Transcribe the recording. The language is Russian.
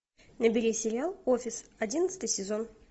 набери сериал офис одиннадцатый сезон